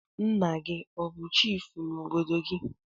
Nna gi o bu chifu n'obodo gi?